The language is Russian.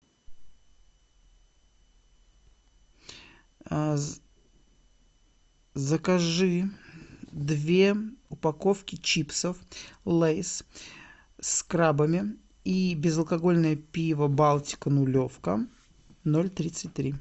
закажи две упаковки чипсов лейс с крабами и безалкогольное пиво балтика нулевка ноль тридцать три